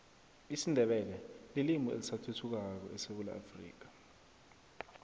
isindebele lilimi elisathuthukako esewula afrika